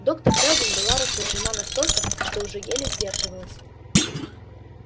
доктор кэлвин была рассержена настолько что уже еле сдерживалась